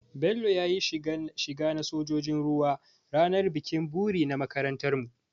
Bello ya yi shiga na sojin ruwa ranar bikin buri na makarantarmu.